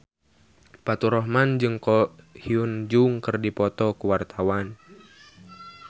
Faturrahman jeung Ko Hyun Jung keur dipoto ku wartawan